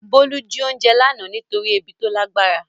Bolu jí oúnjẹ lánàá nítorí ebi tó lágbára.